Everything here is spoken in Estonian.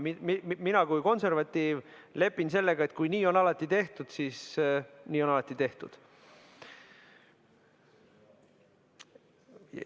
Mina kui konservatiiv lepin sellega, et kui nii on alati tehtud, siis nii on alati tehtud.